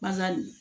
Bali